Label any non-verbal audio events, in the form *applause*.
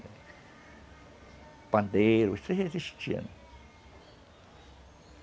O pandeiro, isso *unintelligible* existia.